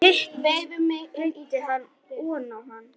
Hitt breiddi hann oná hann.